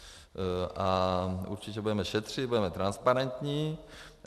A určitě budeme šetřit, budeme transparentní.